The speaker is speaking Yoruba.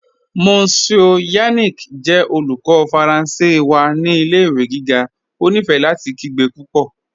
Monsieur Yannick jẹ olùkọ̀ Faranse wa ni ilẹ̀-ìwé gígá, ó nífé láti kìgbe púpọ́.